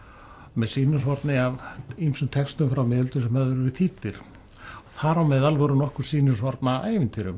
með sýnishorni af ýmsum textum frá miðöldum sem höfðu verið þýddir þar á meðal voru nokkur sýnishorn af ævintýrum